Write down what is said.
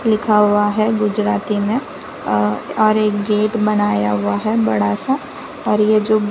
लिखा हुआ है गुजराती में अ और एक गेट बनाया हुआ है बड़ा सा और ये जो--